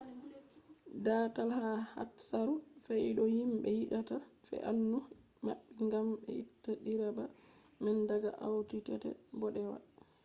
daatal ha hatsaru fe’ii do himɓe yidata fe'anuu maɓɓi ngam be itta direba man daga audi tt bodewa